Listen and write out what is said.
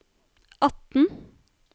atten